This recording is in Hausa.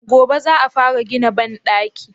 Gobe za a fara gina banɗakin?